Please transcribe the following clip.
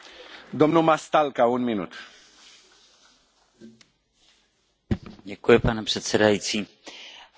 Pane předsedající, v poslední době došlo k mnoha změnám na vnitřním trhu Evropské unie.